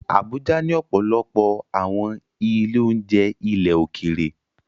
Abuja ní ọ̀pọ̀lọpọ̀ àwọn ilé-oúnjẹ ilẹ̀ òkèèrè